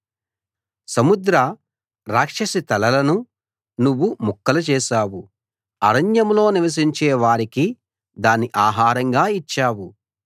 సముద్ర రాక్షసి తలలను నువ్వు ముక్కలు చేశావు అరణ్యాల్లో నివసించే వారికి దాన్ని ఆహారంగా ఇచ్చావు